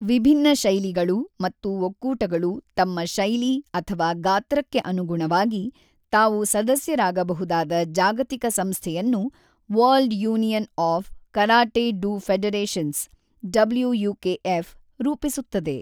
ವಿಭಿನ್ನ ಶೈಲಿಗಳು ಮತ್ತು ಒಕ್ಕೂಟಗಳು ತಮ್ಮ ಶೈಲಿ ಅಥವಾ ಗಾತ್ರಕ್ಕೆ ಅನುಗುಣವಾಗಿ ತಾವು ಸದಸ್ಯರಾಗಬಹುದಾದ ಜಾಗತಿಕ ಸಂಸ್ಥೆಯನ್ನು world union of karate do federations (WUKF ) ರೂಪಿಸುತ್ತದೆ.